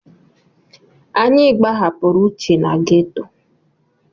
Anyị gbahapụrụ Uche na geto.